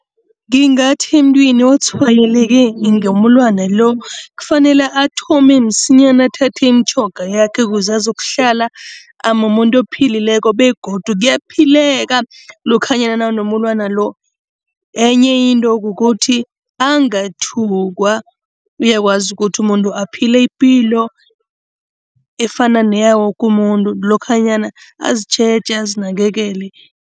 Ngingathi emntwini otshwayeleke ngomulwana lo, kufanele athome msinyana athathe imitjhoga yakhe kuze azokuhlala amumuntu ophilileko begodu kuyaphileka lokhanyana nawunomulwana lo. Enye into kukuthi angathukwa, uyakwazi ukuthi umuntu aphile ipilo efana neyawoke umuntu lokhanyana azitjheje azinakekele.